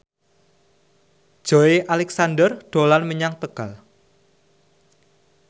Joey Alexander dolan menyang Tegal